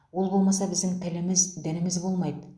ол болмаса біздің тіліміз дініміз болмайды